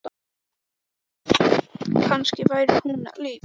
Þetta var allt tryggt upp í topp- muldraði Oddur.